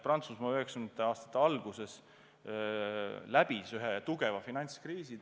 Prantsusmaa tegi 1990. aastate alguses läbi suure finantskriisi.